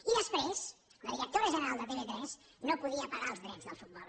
i després la directora general de tv3 no podia pagar els drets del futbol